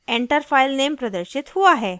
enter filename प्रदर्शित हुआ है